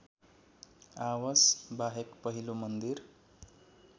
आवासबाहेक पहिलो मन्दिर